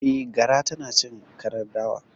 Eh, gara tanacin karar dawa